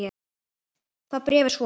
Það bréf er svo